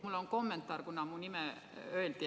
Mul on kommentaar, kuna mu nime nimetati.